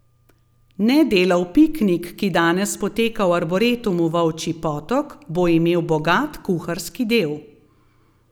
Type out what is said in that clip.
Nedelov piknik, ki danes poteka v Arboretumu Volčji Potok, bo imel bogat kuharski del.